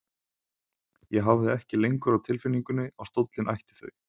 Ég hafði ekki lengur á tilfinningunni að stóllinn ætti þau.